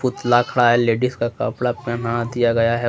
पुतला खड़ा है लेडिस का कपड़ा पहना दिया गया है वह--